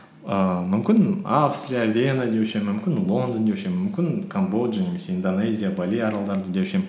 ііі мүмкін австрия вена деуші едім мүмкін лондон деуші едім мүмкін камбоджа немесе индонезия бали аралдары деуші едім